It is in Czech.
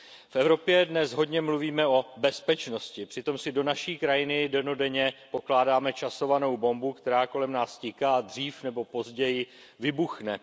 V Evropě dnes hodně mluvíme o bezpečnosti, přitom si do naší krajiny dennodenně pokládáme časovanou bombu, která kolem nás tiká a dřív nebo později vybuchne.